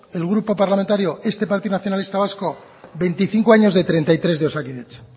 el grupo parlamentario este partido nacionalista vasco veinticinco años de treinta y tres de osakidetza